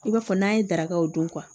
I b'a fɔ n'an ye darakaw dun